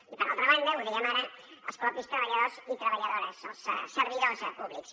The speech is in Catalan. i per altra banda ho dèiem ara els propis treballadors i treballadores els servidors públics